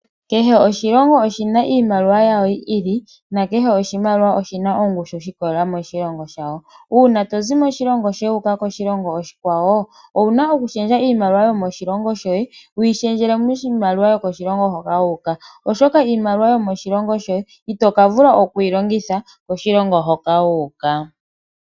Keshe oshilongo oshina iimaliwa yawo yi ili, nokehe oshimaliwa oshina ongushu shi ikwatelela moshilongo shasho. Uuna tozi moshilongo shohe wu uka koshilongo oshikwawo ,owu na okushendja iimaliwa yomoshilongo shoye wuyi shendjele miimaliwa yo koshilongo hoka wa uka oshoka iimaliwa yomoshilongo shoye itoka vula oku keyi longitha koshilongo hoka wa uka.